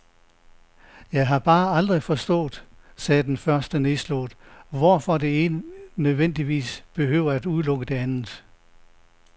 Jeg har bare aldrig forstået, sagde den første nedslået, hvorfor det ene nødvendigvis behøver at udelukke det andet.